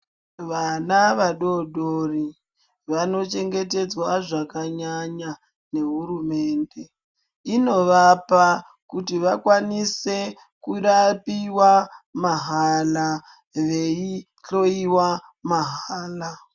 Vana vadoodori vanochengetedzwa zvakanyanya ngehurumende. Inovapa kuti vakwanise kurapiwa mahala veihloiwa mahala.